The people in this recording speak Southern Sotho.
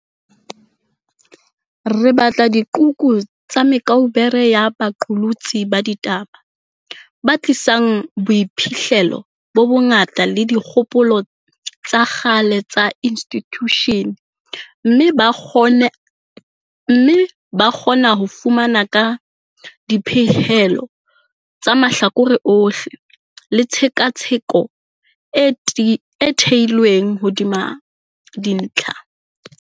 Re batla diqhoku tsa me kaubere ya baqolotsi ba di taba, ba tlisang boiphihlelo bo bongata le dikgopolo tsa kgale tsa institjushene, mme ba kgona ho fana ka dipehelo tsa mahlakore ohle le tshe katsheko e theilweng hodima dintlha.